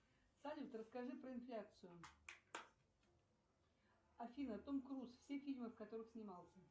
салют расскажи про инфляцию афина том круз все фильмы в которых снимался